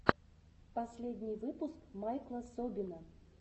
последний выпуск майкла собина